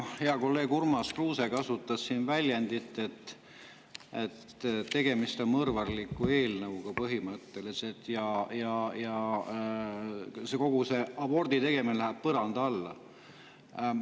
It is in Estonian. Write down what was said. Hea kolleeg Urmas Kruuse kasutas väljendit, et põhimõtteliselt on tegemist mõrvarliku eelnõuga, ja kogu see abortide tegemine läheb põranda alla.